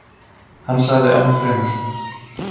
Hann sagði ennfremur: